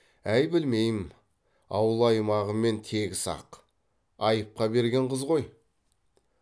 әй білмеймін ауыл аймағымен тегіс ақ айыпқа берген қыз ғой